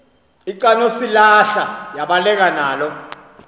lcanosilarha yabaleka nalo